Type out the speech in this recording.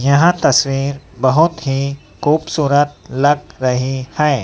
यह तस्वीर बहोत ही खूबसूरत लग रही हैं।